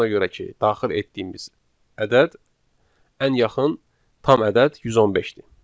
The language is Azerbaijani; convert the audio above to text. ona görə ki daxil etdiyimiz ədəd ən yaxın tam ədəd 115-dir.